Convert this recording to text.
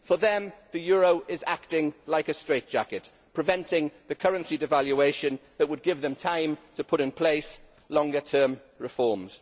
For them, the euro is acting like a straitjacket, preventing the currency devaluation that would give them time to put in place longer term reforms.